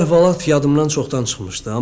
Bu əhvalat yadımdan çoxdan çıxmışdı.